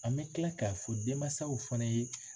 An bɛ tila k'a fɔ denmansaw fana ye